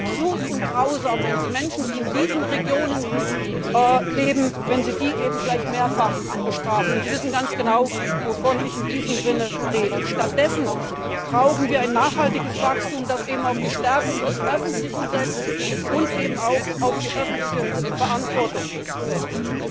Es ist absurd und grausam, wenn Sie Menschen, die in diesen Regionen leben, gleich mehrfach bestrafen. Sie wissen ganz genau, wovon ich in diesem Sinne rede. Stattdessen brauchen wir ein nachhaltiges Wachstum, das auf die Stärkung des Öffentlichen und auch auf die öffentliche Verantwortung setzt.